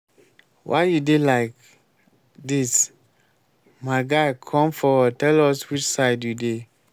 why you dey like dis? my guy come forward tell us which side you dey